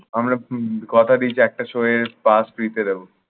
আমরা উম কথা দিয়েছি একটার সময়ে pass free তে দেব।